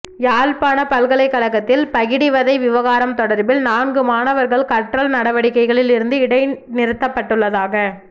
யாழ்ப்பாண பல்கலைக்கழகத்தில் பகிடிவதை விவகாரம் தொடர்பில் நான்கு மாணவர்கள் கற்றல் நடவடிக்கைகளில் இருந்து இடைநிறுத்தப்பட்டுள்ளதாக